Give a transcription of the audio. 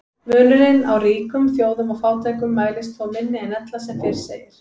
Munurinn á ríkum þjóðum og fátækum mælist þó minni en ella sem fyrr segir.